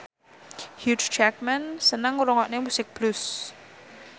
Hugh Jackman seneng ngrungokne musik blues